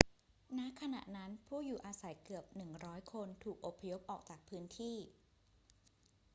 ณ ขณะนั้น ผู้อยู่อาศัยเกือบ 100 คนถูกอพยพออกจากพื้นที่